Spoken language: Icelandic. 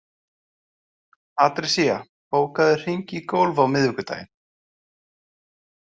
Patrisía, bókaðu hring í golf á fimmtudaginn.